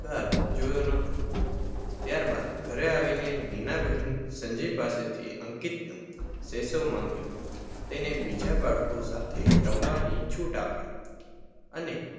ધિક્કાર જોયો ન હતો. ત્યારબાદ ઘરે આવીને નીનાબહેન સંજયપાસેથી અંકિતનો સેસો માંગ્યો તેને બીજા બાળકો સાથે રમવાની છૂટ આપી અને